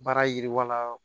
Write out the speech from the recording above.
Baara yiriwala